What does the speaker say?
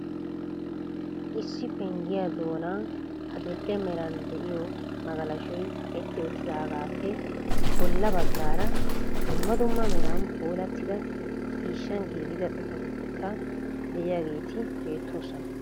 Issi penggiya doona adil"e meray de'iyo magalashshoy kaqeti uttidaagappe bolla baggaara dumma dumma meran puulatida ciishshan giigida xifaatetikka de'iyaageeti beettoosona.